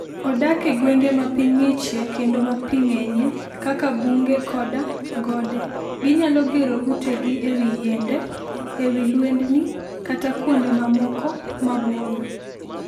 Odak e gwenge ma piny ng'ichie kendo ma pi ng'enyie, kaka bunge koda gode. Ginyalo gero utegi e wi yiende, e wi lwendni, kata kuonde mamoko maboyo.